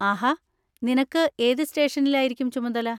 ആഹാ! നിനക്ക് ഏത് സ്റ്റേഷനിലായിരിക്കും ചുമതല?